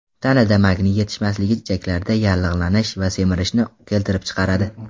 Tanada magniy yetishmasligi ichaklarda yallig‘lanish va semirishni keltirib chiqaradi.